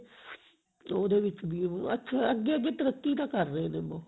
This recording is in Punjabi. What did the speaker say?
ਉਹਦੇ ਵਿੱਚ ਵੀ ਉਹ ਅੱਛਾ ਅੱਗੇ ਅੱਗੇ ਤਰੱਕੀ ਤਾਂ ਕਰ ਰਹੇ ਨੇ ਬਹੁਤ